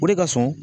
O de ka sɔn